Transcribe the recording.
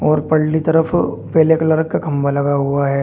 और पल्ली तरफ पीले कलर का खंभा लगा हुआ है।